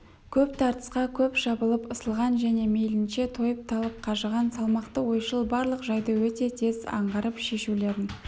көп тартысқа көп шабылып ысылған және мейлінше тойып талып қажыған салмақты ойшыл барлық жайды өте тез аңғарып шешулерін